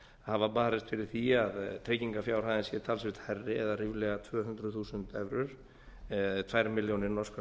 hafa barist fyrir því að tryggingarfjárhæðin sé talsvert hærri eða ríflega tvö hundruð þúsund evrur eða öðrum milljónir norskra